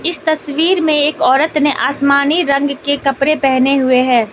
इस तस्वीर में एक औरत ने आसमानी रंग के कपड़े पहने हुए हैं।